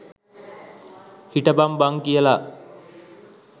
හිටපං බං කියලා.